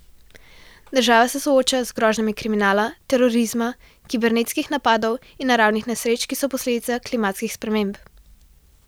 Država se sooča z grožnjami kriminala, terorizma, kibernetskih napadov in naravnih nesreč, ki so posledica klimatskih sprememb.